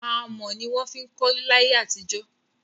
Amọ̀ ní wọn ń fí kọlé láyé àtijọ́.